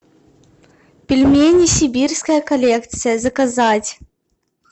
пельмени сибирская коллекция заказать